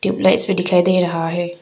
Tubelights भी दिखाई दे रहा है।